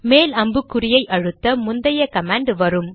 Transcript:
மேல் அம்புக்குறியை அழுத்த முந்தைய கமாண்ட் வரும்